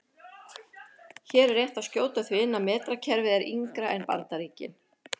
Hér er rétt að skjóta því inn að metrakerfið er yngra en Bandaríkin.